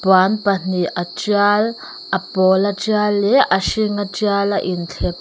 puan pahnih a tial a pawl a tial leh a hring a tial a in thlep--